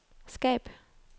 skab